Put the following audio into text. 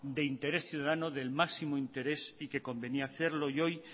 de interés ciudadano del máximo interés y que convenía hacerlo y hoy